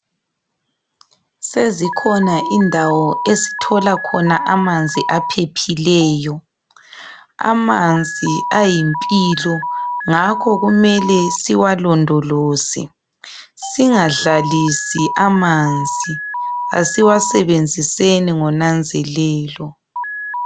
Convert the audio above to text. Sezikhona indawo esithola khona amanzi aphephileyo. Amanzi ayimpilo ngakho kumele siwalondoloze. Singadlalisi amanzi, asiwasebenziseni ngonanzelelo.